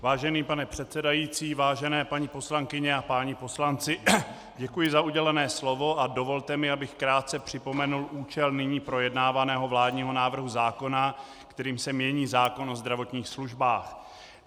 Vážený pane předsedající, vážené paní poslankyně a páni poslanci, děkuji za udělené slovo a dovolte mi, abych krátce připomenul účel nyní projednávaného vládního návrhu zákona, kterým se mění zákon o zdravotních službách.